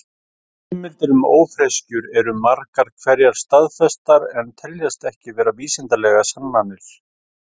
Heimildir um ófreskjur eru margar hverjar staðfestar en teljast ekki vera vísindalegar sannanir.